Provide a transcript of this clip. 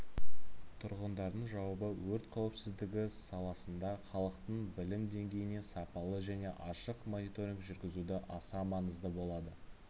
тұрғындардың жауабы өрт қауіпсіздігі саласында халықтың білім деңгейіне сапалы және ашық мониторинг жүргізуде аса маңызды болады